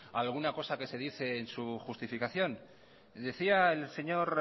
alguna cosa que se dice en su justificación decía el señor